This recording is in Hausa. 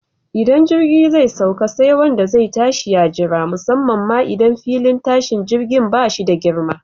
Idan jirgi zai sauka, sai wanda zai tashi ya jira, musamman ma idan filin tashin jirgin ba shi da girma.